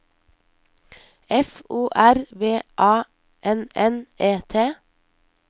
F O R B A N N E T